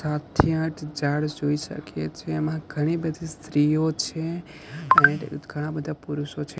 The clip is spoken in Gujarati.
સાતથી આઠ ઝાડ જોઈ શકીએ છીએ એમાં ઘણી બધી સ્ત્રીઓ છે એન્ડ ઘણા બધા પુરુષો છે.